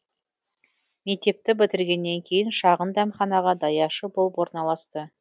мектепті бітіргеннен кейін шағын дәмханаға даяшы болып орналасты